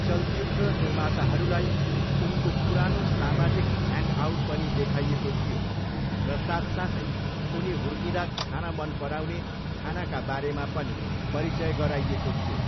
चलचित्र निर्माताहरूलाई उनको पुरानो सामाजिक ह्याङ्गआउट पनि देखाइएको थियो र साथसाथै उनी हुर्किँदा खान मन पराउने खानाका बारेमा पनि परिचय गराइएको थियो।